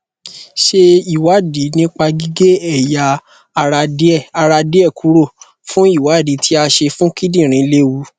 ṣé ìwádìí nípa gige eya ara die ara die kuro fun iwadi ti a se fun kindinrin lewù